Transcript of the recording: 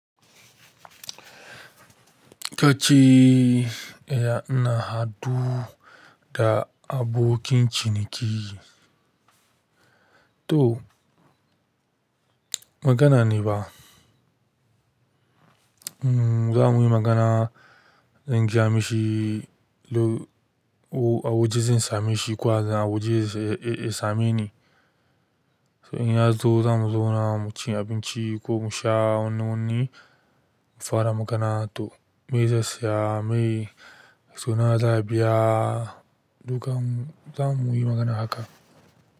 Kace, eh na haɗu da abokin ciniki. To magana ne ba. Mm za mu yi magana, zan giya mishi, a woje zan same shi kuwa a woje ya same ni. In ya zo za mu zauna mu ci abinci ko mu sha wani wani, mu fara magana. To me zai saya, me su nawa za a biya, dukan mu zamu yi magana haka.